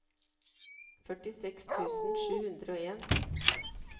førtiseks tusen sju hundre og en